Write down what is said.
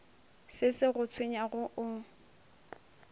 se se go tshwenyago o